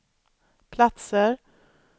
platser